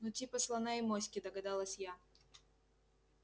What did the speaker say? ну типа слона и моськи догадалась я